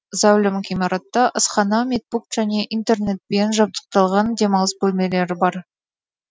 зәулім ғимаратта асхана медпункт және интернетпен жабдықталған демалыс бөлмелері бар